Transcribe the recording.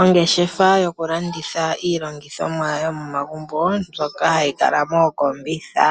Ongeshefa yokulanditha iilongithomwa yomomagumbo mbyoka hayi kala mookombitha.